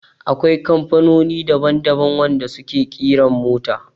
Akwai kamfanonin daban daban wanda su ke ƙiran mota